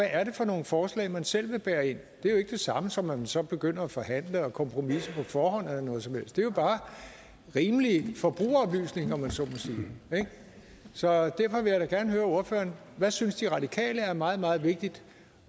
er for nogle forslag man selv vil bære ind det er jo ikke det samme som at man så begynder at forhandle og kompromisse på forhånd eller noget som helst det er jo bare rimelig forbrugeroplysning om man så må sige så derfor vil jeg da gerne høre ordføreren hvad synes de radikale er meget meget vigtigt